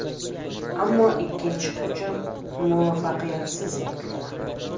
Ammo ikkinchi hujum muvaffaqiyatsiz yakunlandi.